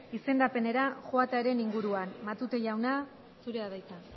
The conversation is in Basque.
izendapenera joatearen inguruan matute jauna zurea da hitza